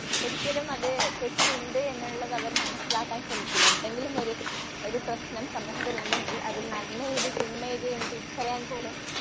ഒരിക്കലും അത് തെറ്റ് ഉണ്ട് എന്നുള്ളത് അവർ മനസ്സിലാക്കാൻ ശ്രമിക്കില്ല. എന്തെങ്കിലുമൊരു ഒരു പ്രശ്നം സമൂഹത്തിലുണ്ടെങ്കിൽ അതു നന്മ ഏത് തിന്മ ഏത് എന്ന് തിരിച്ചറിയാൻ പോലും